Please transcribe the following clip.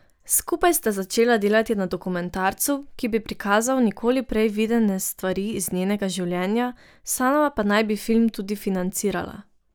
Skupaj sta začela delati na dokumentarcu, ki bi prikazal nikoli prej videne stvari iz njenega življenja, sama pa naj bi film tudi financirala.